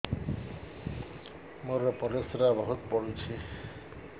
ମୋର ପରିସ୍ରା ବହୁତ ପୁଡୁଚି